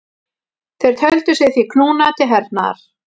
Þeir töldu sig því knúna til hernaðar.